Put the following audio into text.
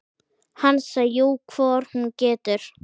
Hansa: Jú, hvort hún getur.